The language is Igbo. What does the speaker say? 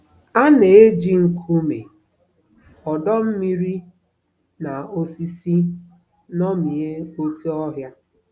A na-eji nkume, ọdọ mmiri, na osisi ṅomie oké ọhịa.